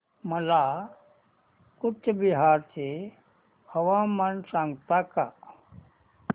मला कूचबिहार चे हवामान सांगता का